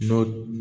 N'o